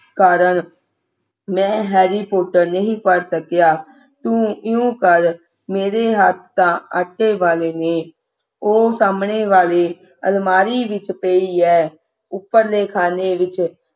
ਕਾਰਨ ਮੈਂ harry porter ਨਹੀਂ ਪੜ੍ਹ ਸਕਿਆ ਤੂੰ ਇਉਂ ਕਰ ਮੇਰੇ ਹੱਥਾਂ ਆਟੇ ਵਾਲੇ ਨੇ ਔਹ ਸਾਹਮਣੇ ਵਾਲੀ ਅਲਮਾਰੀ ਵਿਚ ਪਈ ਐ ਉਪਰਲੇ ਖਾਨੇ ਵਿੱਚ